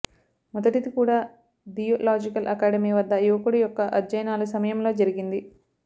మొదటిది కూడా theological academy వద్ద యువకుడు యొక్క అధ్యయనాలు సమయంలో జరిగింది